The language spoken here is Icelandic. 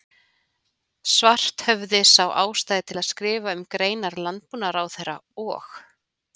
Svarthöfði sá ástæðu til að skrifa um greinar landbúnaðarráðherra og